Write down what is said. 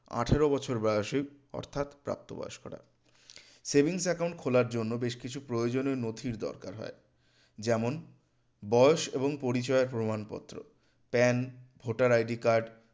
আঠারো বছর বয়সী অর্থাৎ প্রাপ্ত বয়স্করা savings account খোলার জন্য বেশ কিছু প্রয়োজনীয় নথির দরকার হয় যেমন বয়স এবং পরিচয় প্রমানপত্র PAN ভোটার ID card